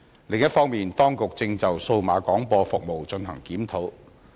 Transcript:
另一方面，當局正就數碼廣播服務進行檢討。